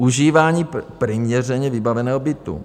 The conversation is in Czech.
Užívání přiměřeně vybaveného bytu.